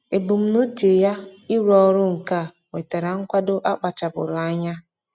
Ebumnuche ya ịrụ ọrụ nka nwetara nkwado a kpachapụụrụ anya.